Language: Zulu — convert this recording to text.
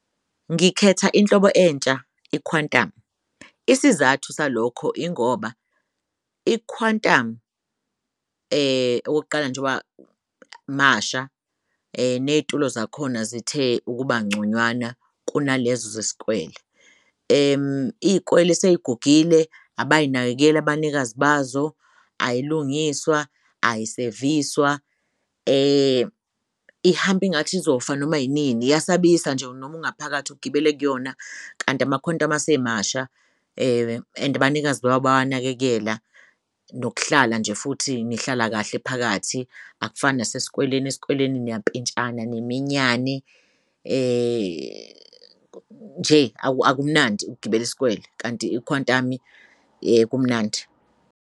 Ngikhetha inhlobo entsha, i-Quantum. Isizathu salokho ingoba i-Quantum okokuqala njoba masha neyitulo zakhona zithe ukuba ngconywana kunalezo zesikwele. Iy'kwele seyigugile abazinakekeli abanikazi bazo ayilungiswa, ayiseviswa ihamb' ingathi izofana noma inini, iyasabisa nje noma ungaphakathi ugibele kuyona kanti ama-Quantum asemasha and abanikazi bawo bayawanakekela, nokuhlala nje futhi nihlala kahle phakathi akufani nasesikweleni, eskweleni niyampintshani niminyane nje akumnandi ukugibel' isikwele kanti i-Quantum kumnandi.